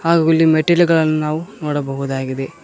ಹಾಗೂ ಇಲ್ಲಿ ಮೆಟ್ಟಿಲುಗಳನ್ನು ನಾವು ನೋಡಬಹುದಾಗಿದೆ.